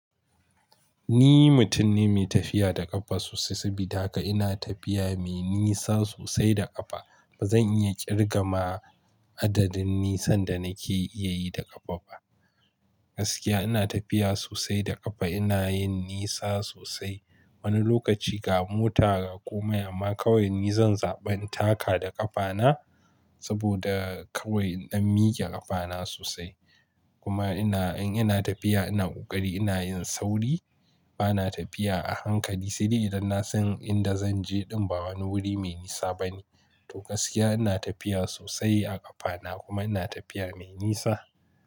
Ni mutum ne mai tafiya da ƙafa sosai, saboda haka ina tafiya mai nisa sosai da ƙafa. Ba zan iya ƙirga ma adadin nisan da nake iya yi da ƙafa ba. Gaskiya ina tafiya sosai da ƙafa, ina yin nisa sosai. Wani lokaci ga mota ga kome, amma kawai ni zan zaɓi in taka da ƙafana saboda kawai na mike ƙafana sosai. Kuma ina, in ina tafiya ina ƙoƙari ina yin sauri. Bana tafiya a hankali, sai dai idan na san inda zan je din ba wani wuri mai nisa bane. To gaskiya ina tafiya sosai a ƙafana kuma ina tafiya mai nisa.